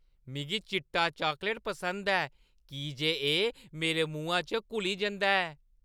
मिगी चिट्टा चॉकलेट पसंद ऐ की जे एह् मेरे मुहां च घुली जंदा ऐ।